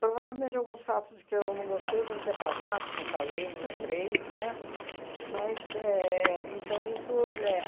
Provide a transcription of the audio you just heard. Provavelmente, alguns fatos de que eu não gostei eu devo ter apagado, não falei, não lembrei, né? Mas éh então isso é